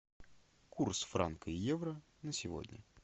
курс франка и евро на сегодня